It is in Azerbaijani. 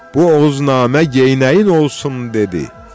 Bu Oğuznamə geynəyin olsun dedi.